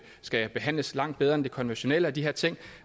skal behandles langt bedre end det konventionelle og de ting